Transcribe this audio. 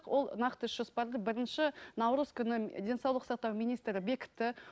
ол нақты іс жоспарды бірінші наурыз күні денсаулық сақтау министрі бекітті